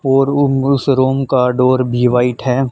और उन उस रूम का डोर भी वाइट है।